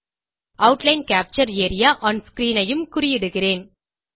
outline capture area one screenஐயும் குறியிடுகிறேன்